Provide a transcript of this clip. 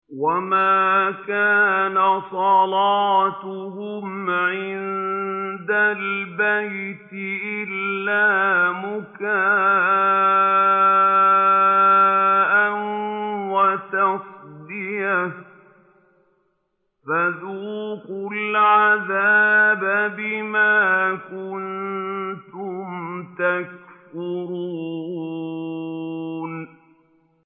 وَمَا كَانَ صَلَاتُهُمْ عِندَ الْبَيْتِ إِلَّا مُكَاءً وَتَصْدِيَةً ۚ فَذُوقُوا الْعَذَابَ بِمَا كُنتُمْ تَكْفُرُونَ